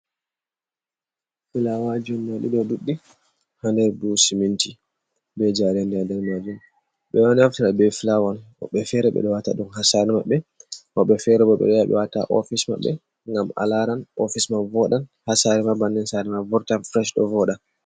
Fulawaji ɗadi ɗe ɗuɗɗi ha nɗer buhuji siminti be jarenɗi ha nɗer majum ɓe ɗo naftira be fulawa woɓɓe fere ɓe ɗo ha sare maɓɓe woɓɓe fere ɓo ɓe wata ha ofis maɓɓe ngam alaran ofis man voɗan ha sare ɓannin wartan feres ɗo voɗa.